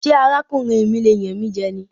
Ṣé ara kùnrin mi lè yàn mí jẹ ní?